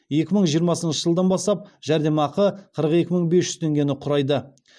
екі мың жиырмасыншы жылдан бастап жәрдемақы қырық екі мың бес жүз теңгені құрайды